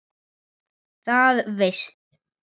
Það veistu.